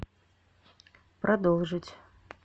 продолжить